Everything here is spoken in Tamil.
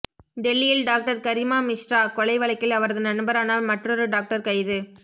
டெல்லியில் டாக்டர் கரிமா மிஸ்ரா கொலை வழக்கில் அவரது நண்பரான மற்றொரு டாக்டர் கைது